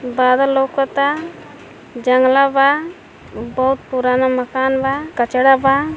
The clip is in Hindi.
बादल लउकता जंगला बा बहुत पुराना मकान बा कचड़ा बा।